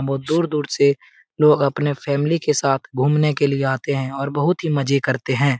बहुत दूर-दूर से लोग अपने फैमिली के साथ घुमने के लिए आते है और बहुत ही मजे करते हैं।